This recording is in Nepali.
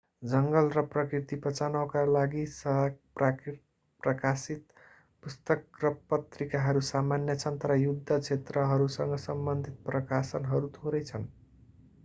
जङ्गल र प्रकृति बचाउनका लागि प्रकाशित पुस्तक र पत्रिकाहरू सामान्य छन् तर युद्ध क्षेत्रहरूसँग सम्बन्धित प्रकाशनहरू थोरै छन्